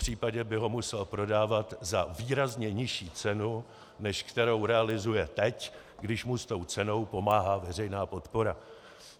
Popřípadě by ho musel prodávat za výrazně nižší cenu, než kterou realizuje teď, když mu s tou cenou pomáhá veřejná podpora.